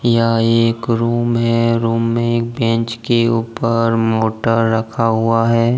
यह एक रूम है और रूम में एक बेंच के ऊपर मोटर रखा हुआ है।